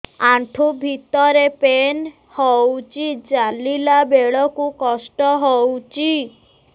ଆଣ୍ଠୁ ଭିତରେ ପେନ୍ ହଉଚି ଚାଲିଲା ବେଳକୁ କଷ୍ଟ ହଉଚି